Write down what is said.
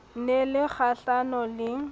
ne e le kgahlano le